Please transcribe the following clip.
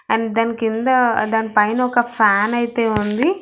And దాని కింద దాని పైన ఒక ఫ్యాన్ అయితే ఉంది.